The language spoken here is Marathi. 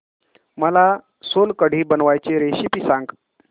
मला सोलकढी बनवायची रेसिपी सांग